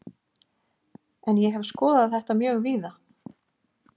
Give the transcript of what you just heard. En ég hef skoðað þetta mjög víða.